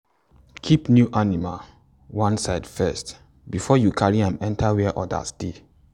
keep new animal one side first before you carry am enter where others dey.